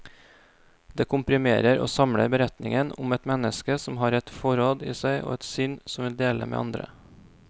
Det komprimerer og samler beretningen om et menneske som har et forråd i seg, og et sinn som vil dele med andre.